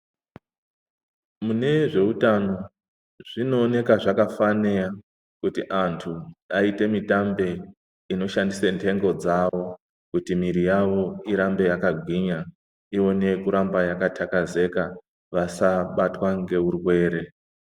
Mune zveutano zvinooneka zvakafanira kuti antu aite mutambe inoshandisa nhengo dzavo kuti mwiri yavo irambe yakagwinya. Uone kuramba yakatakazeka vasabatwa ngeurwere.